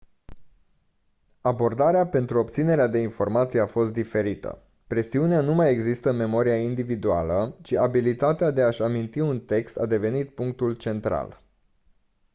abordarea pentru obținerea de informații a fost diferită presiunea nu mai exista în memoria individuală ci abilitatea de a-și aminti un text a devenit punctul central